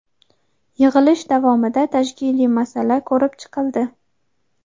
yig‘ilish davomida tashkiliy masala ko‘rib chiqildi.